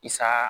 Isaa